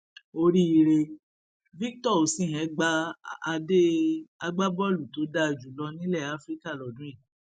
oríire victor os îhén gba adé agbábọọlù tó dáa jù lọ nílẹ afrika lọdún yìí